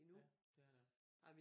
Ja det er den